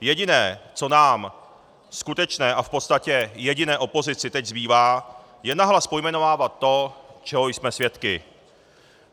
Jediné, co nám skutečně a v podstatě jediné opozici teď zbývá, je nahlas pojmenovávat to, čeho jsme svědky.